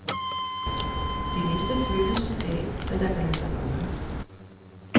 De mister følelsen af, hvad der kan lade sig gøre.